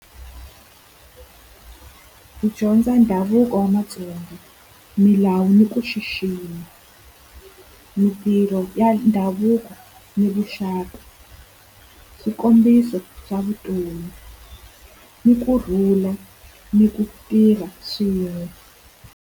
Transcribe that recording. Ku dyondza ndhavuko wa Matsonga, milawu ni ku xixima, mintirho ya ndhavuko ni vuxaka, swikombiso swa vutomi ni kurhula ni ku tirha swin'we.